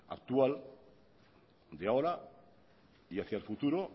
actual de ahora y hacia el futuro